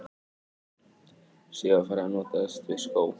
Síðar var farið að notast við skó, eða þá körfu og láta hana utandyra.